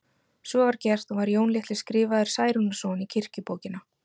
Svo var gert og var Jón litli skrifaður Særúnarson í kirkjubókina.